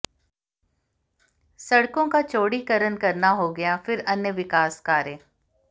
सड़कों का चौड़ीकरण करना हो गया फिर अन्य विकास कार्य